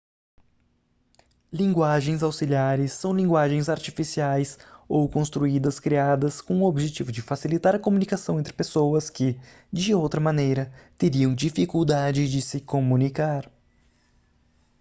linguagens auxiliares são linguagens artificiais ou construídas criadas com o objetivo de facilitar a comunicação entre pessoas que de outra maneira teriam dificuldade de se comunicar